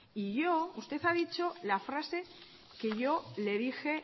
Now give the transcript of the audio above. y yo usted ha dicho la frase que yo le dije